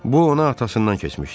Bu ona atasından keçmişdi.